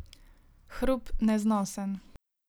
Hrup neznosen.